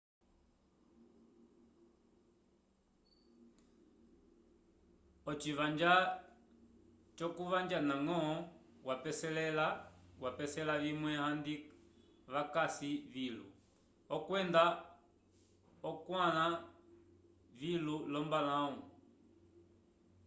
oci vanja jokuvanja na ngo vapesela vimwe andi vakasi vilu okwenda okwanla vilu lombalaw